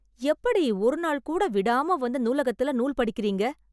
எப்படி ஒரு நாள் கூட விடாம வந்து நூலகத்துல நூல் படிக்கறீங்க